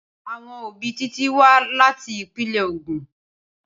Awon obi Titi wa lati ipinle Ogun.